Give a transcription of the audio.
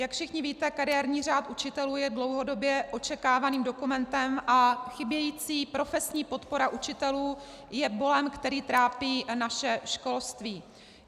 Jak všichni víte, kariérní řád učitelů je dlouhodobě očekávaným dokumentem a chybějící profesní podpora učitelů je bolem, který trápí naše školství.